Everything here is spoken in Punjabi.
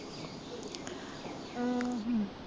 ਆਹੋ